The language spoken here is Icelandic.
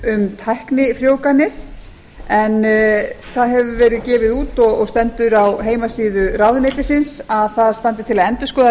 um tæknifrjóvganir en það hefur verið gefið út og stendur á heimasíðu ráðuneytisins að það standi til að endurskoða